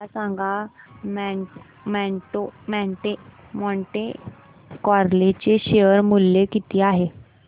मला सांगा Monte Carlo चे शेअर मूल्य किती आहे